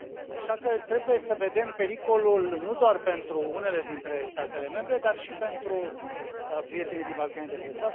Așa că, trebuie să vedem pericolul nu doar pentru unele dintre statele membre, dar și pentru prietenii din Balcanii de Vest.